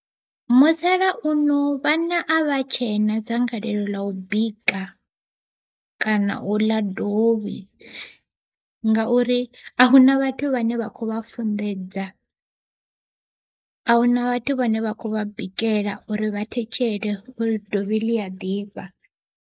Musalauno vhana a vha tshena dzangalelo ḽa u bika kana u ḽa dovhi, ngauri a huna vhathu vhane vha kho vha funḓedza, a huna vhathu vhane vha kho vha bikela uri vha thetshele uri dovhi ḽi a ḓifha.